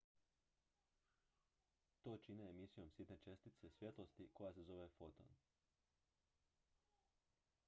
"to čine emisijom sitne čestice svjetlosti koja se zove "foton.""